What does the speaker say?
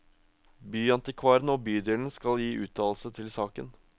Byantikvaren og bydelen skal gi uttalelse til saken.